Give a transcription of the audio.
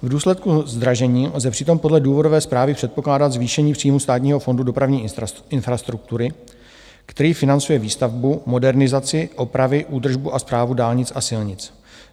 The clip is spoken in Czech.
V důsledku zdražení lze přitom podle důvodové správy předpokládat zvýšení příjmů Státního fondu dopravní infrastruktury, který financuje výstavbu, modernizaci, opravy, údržbu a správu dálnic a silnic.